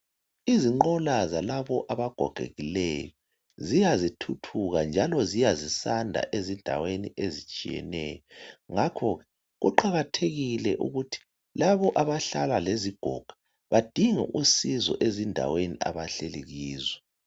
Izinqola zalaba abagogekileyo ziya zithuthuka njalo ziya sizanda ezindaweni ezitshiyeneyo ngakho kuqakathekile ukuthi labo abahlala lezigoga badinge usizo ezindaweni abahleli kizo.